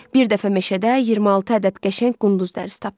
Bir dəfə meşədə 26 ədəd qəşəng qunduz dərsi tapdım.